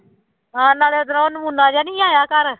ਆਹੋ ਨਾਲੇ ਉਧਰੋਂ ਉਹ ਨਮੂਨਾ ਜਿਹਾ ਨੀ ਆਇਆ ਘਰ।